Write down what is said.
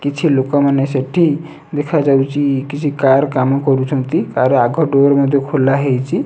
କିଛି ଲୋକ ମାନେ ସେଠି ଦେଖା ଯାଉଅଛି କିଛି କାର କାମ କରୁଛନ୍ତି ତାର ଆଗ ଡୋର ମଧ୍ୟ ଖୋଲ ହେଇଛି